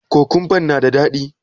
Kokumban na da daɗi?